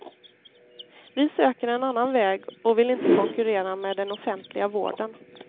Vi söker en annan väg och vill inte konkurrera med den offentliga vården.